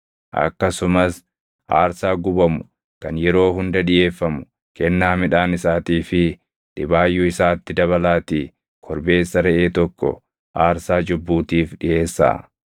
Akkasumas aarsaa gubamu kan yeroo hunda dhiʼeeffamu, kennaa midhaan isaatii fi dhibaayyuu isaatti dabalaatii korbeessa reʼee tokko aarsaa cubbuutiif dhiʼeessaa.